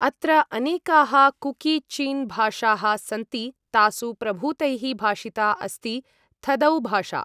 अत्र अनेकाः कुकी चिन् भाषाः सन्ति, तासु प्रभूतैः भाषिता अस्ति थदौ भाषा।